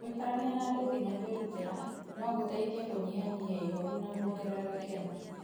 Gũikarania na andũ nginya kwĩrutĩra, no gũteithie kũnyihanyihia ihooru na kwongerera gĩkeno.